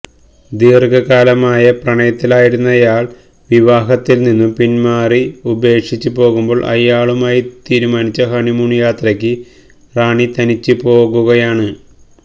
ദീര്ഘകാലമായ പ്രണയത്തിലായിരുന്നയാള് വിവാഹത്തില് നിന്നും പിന്മാറി ഉപേക്ഷിച്ച് പോകുമ്പോള് അയാളുമായി തീരുമാനിച്ച ഹണിമൂണ് യാത്രയ്ക്ക് റാണി തനിച്ച് പോകുകയാണ്